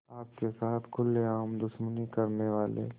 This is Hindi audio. आपके साथ खुलेआम दुश्मनी करने वाले